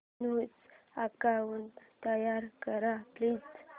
new account तयार कर please